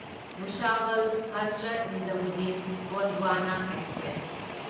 Bhusawal Hazrat Nizamuddin Gondwana express